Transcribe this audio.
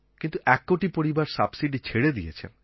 কিন্তু এক কোটি পরিবার সাবসিডি ছেড়ে দিয়েছেন